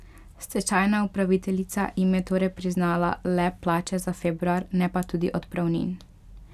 Stečajna upraviteljica jim je torej priznala le plače za februar, ne pa tudi odpravnin.